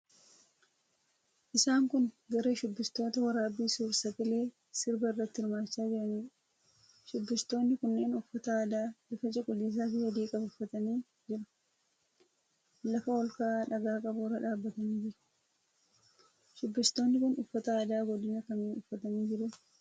Isaan kun garee shubbistootaa waraabbii suur-sagalee sirbaa irratti hirmaachaa jiraniidha. Shubbistoonni kunneen uffata aadaa bifa cuquliisaafi adii qabu uffatanii jiru. Lafa ol ka'aa dhagaa qabu irra dhaabbatanii jiru. Shubbistoonni kun uffata aadaa godina kamii uffatanii jiru?